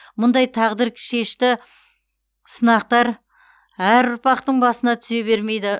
мұндай тағдыршешті сынақтар әр ұрпақтың басына түсе бермейді